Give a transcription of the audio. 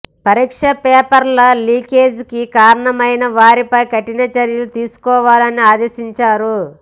పరీక్ష పేపర్ల లీకేజీకి కారణమైన వారిపై కఠిన చర్యలు తీసుకోవాలని ఆదేశించారు